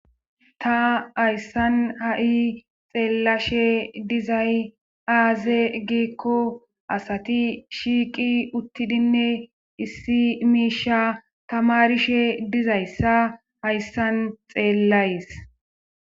ta hayssan ha7i xeellashe dizay aaze giikko asati shiiqi uttidinne issi miisha tamarishe dizayssa hayssan xeellays